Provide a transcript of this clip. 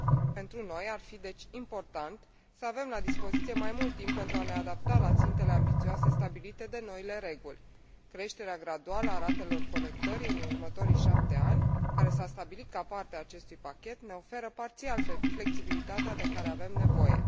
Pentru noi, ar fi deci important să avem la dispoziție mai mult timp pentru a ne adapta la țintele ambițioase stabilite de noile reguli. Creșterea graduală a ratelor colectării în următorii șapte ani, care s a stabilit ca parte a acestui pachet, ne oferă parțial flexibilitatea de care avem nevoie.